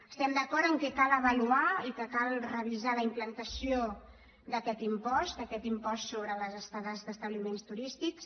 estem d’acord que cal avaluar i que cal revisar la implantació d’aquest impost d’aquest impost sobre les estades d’establiments turístics